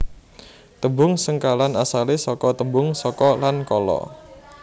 Tembung sengkalan asalé saka tembung saka lan kala